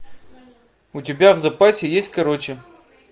у тебя в запасе есть короче